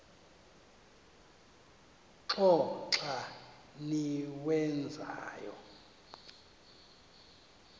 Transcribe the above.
qho xa niwenzayo